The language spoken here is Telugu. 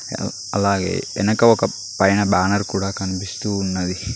అలాగే వెనక ఒక పైన బ్యానర్ కూడా కనిపిస్తూ ఉన్నది.